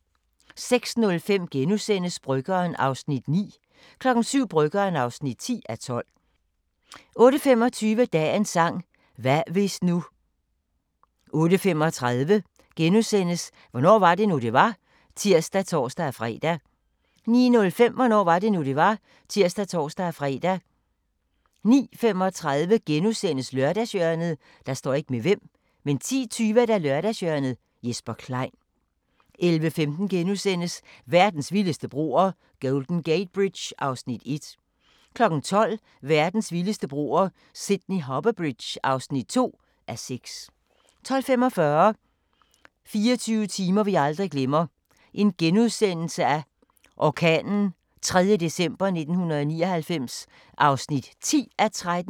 06:05: Bryggeren (9:12)* 07:00: Bryggeren (10:12) 08:25: Dagens sang: Hvad hvis nu 08:35: Hvornår var det nu, det var? *(tir og tor-fre) 09:05: Hvornår var det nu, det var? (tir og tor-fre) 09:35: Lørdagshjørnet * 10:20: Lørdagshjørnet - Jesper Klein 11:15: Verdens vildeste broer – Golden Gate Bridge (1:6)* 12:00: Verdens vildeste broer – Sydney Harbour Bridge (2:6) 12:45: 24 timer vi aldrig glemmer – orkanen 3. december 1999 (10:13)*